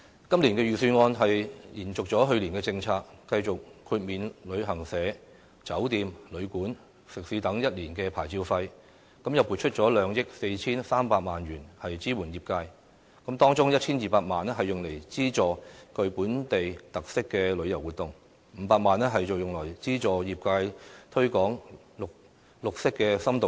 今年預算案延續了去年的政策，繼續豁免旅行社、酒店、旅館、食肆等一年的牌照費，又撥出2億 4,300 萬元支援業界，當中 1,200 萬元用來資助具本地特色的旅遊活動 ，500 萬元則用來資助業界推廣綠色深度遊。